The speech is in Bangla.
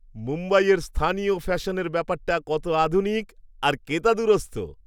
মুম্বইয়ের স্থানীয় ফ্যাশনের ব্যাপারটা কত আধুনিক আর কেতাদুরস্ত।